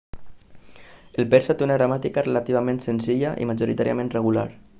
el persa té una gramàtica relativament senzilla i majoritàriament regular